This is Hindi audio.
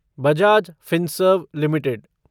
Bajaj Finserv limited